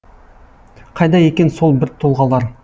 қайда екен сол бір тұлғалар